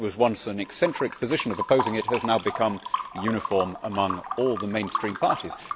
What was once an eccentric position of opposing it has now become uniform among all the mainstream parties.